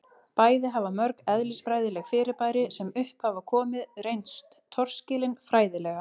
bæði hafa mörg eðlisfræðileg fyrirbæri sem upp hafa komið reynst torskilin fræðilega